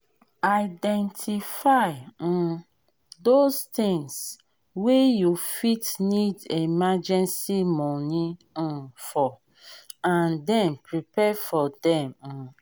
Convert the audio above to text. if money wey um you no dey expect come try put come try put um some um for emergency savings